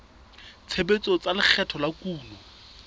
tshebetso tsa lekgetho la kuno